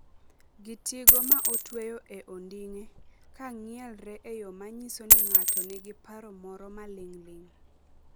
gi tigo ma otweyo e onding'e, ka ng’ielre e yo ma nyiso ni ng’ato nigi paro moro maling' ling'.